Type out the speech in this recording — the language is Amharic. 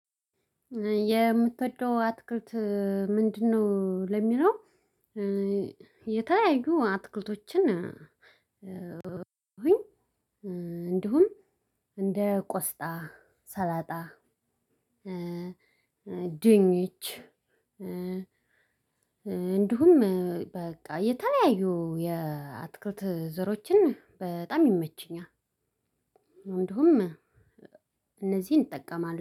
የምትወደው አትክልት ምንድነው? ለሚለው የተለያዩ አትክልቶችን እንዲሁም እንደ ቆስጣ ሰላጣ ድንች እንዲሁም በቃ የተለያዩ የአትክልት ዘሮችን በጣም ይመቸኛል። እንዲሁም እነዚህን እጠቀማለሁ